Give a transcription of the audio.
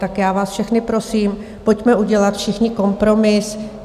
Tak já vás všechny prosím, pojďme udělat všichni kompromis.